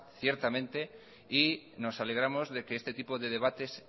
ciertamente y nos alegramos de que este tipo de debates